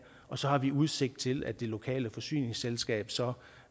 og så har vi udsigt til at det lokale forsyningsselskab så